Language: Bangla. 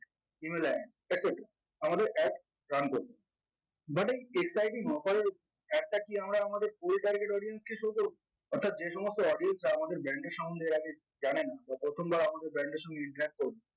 team এ join secretive আমাদের adjoin করলো but এই exciting offer এর ad টা কি আমরা আমাদের কুড়ি তারিখের audience থেকে শুরু করবো অর্থাৎ যেসমস্ত audience রা আমাদের brand এর সমন্ধে এর আগে জানেন বা প্রথম ধরো আমাদের brand এর সঙ্গে interact করলো